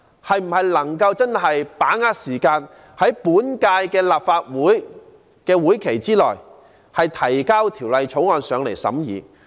政府可否把握時間，在本屆立法會任期內提交法案讓立法會審議？